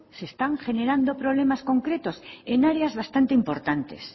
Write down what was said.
se están generando problemas concretos en áreas bastante importantes